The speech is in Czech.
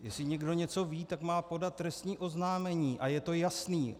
Jestli někdo něco ví, tak má podat trestní oznámení a je to jasné.